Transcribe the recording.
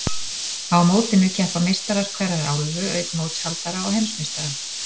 Á mótinu keppa meistarar hverrar álfu, auk mótshaldara og heimsmeistara.